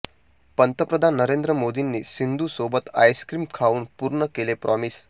पंतप्रधान नरेंद्र मोदींनी सिंधू सोबत आइस्क्रीम खाऊन पूर्ण केलं प्रॉमिस